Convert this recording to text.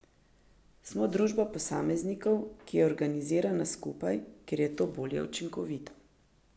Smo družba posameznikov, ki je organizirana skupaj, ker je to bolj učinkovito.